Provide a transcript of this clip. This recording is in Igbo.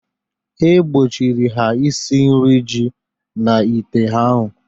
E gbochiri ha isi nri ji n’ite ahụ!.